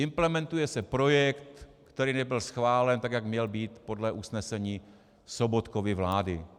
Implementuje se projekt, který nebyl schválen, tak jak měl být podle usnesení Sobotkovy vlády.